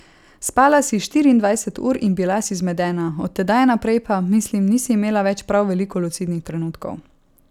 Spala si štiriindvajset ur in bila si zmedena, od tedaj naprej pa, mislim, nisi imela več prav veliko lucidnih trenutkov.